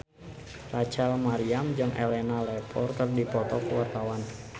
Rachel Maryam jeung Elena Levon keur dipoto ku wartawan